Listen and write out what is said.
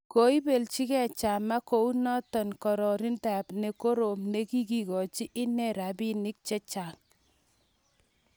Koibeljikei Chama konunotiotab kotiorindet ne korom ne kiigochi inne rabiinik che chang'